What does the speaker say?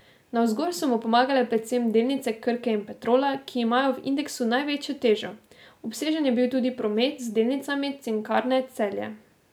Navzgor so mu pomagale predvsem delnice Krke in Petrola, ki imajo v indeksu največjo težo, obsežen je bil tudi promet z delnicami Cinkarne Celje.